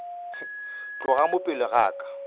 tloga mo pele ga ka